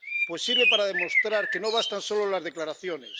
Pues sirve para demostrar que no bastan solo las declaraciones.